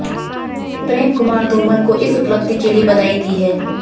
प्रेम कुमार धूमल को इस उपलब्धि के लिए बधाई दी है